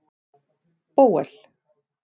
Bóel